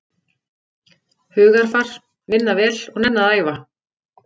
Hugarfar, vinna vel og nenna að æfa.